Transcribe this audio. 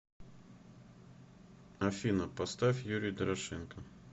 афина поставь юрий дорошенко